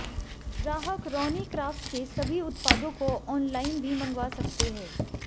ग्राहक रौनी क्राफ्ट के सभी उत्पादों को ऑनलाइन भी मंगवा सकते हैं